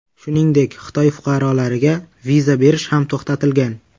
Shuningdek, Xitoy fuqarolariga viza berish ham to‘xtatilgan.